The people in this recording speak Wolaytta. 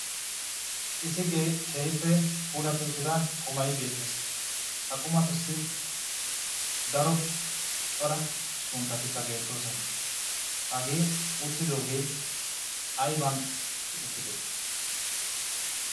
isi keehippe puulatti uttida qumai beettees ha qumatussi daro cora sunttatikka beettoosona. hagee uttidoogee ayban uttide?